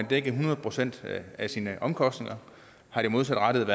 dækket hundrede procent af sine omkostninger er det modsat